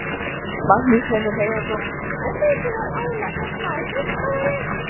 Magnús Hlynur Hreiðarsson: Og er mikið álag hér á skrifstofunni?